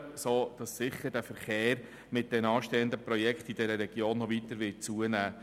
Deshalb wird der Verkehr in dieser Region mit den anstehenden Projekten sicher noch weiter zunehmen.